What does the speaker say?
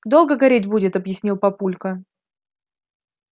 долго гореть будет объяснил папулька